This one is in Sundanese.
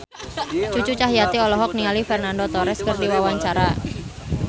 Cucu Cahyati olohok ningali Fernando Torres keur diwawancara